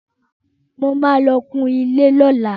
Mo ma lọ kun ilé lọ́la